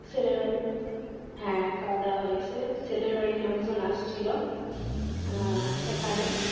ছেলের, হ্যাঁ খাওয়া দাওয়া হয়েছে ছেলের বাড়ির লোকজন আসছিল আহ এখানে।